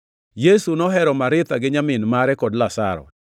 Yesu nohero Maritha gi nyamin mare kod Lazaro.